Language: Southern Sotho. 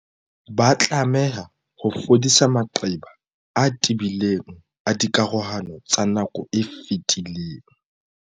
Ba tlameha ho fodisa maqeba a tebileng a dikarohano tsa nako e fetileng.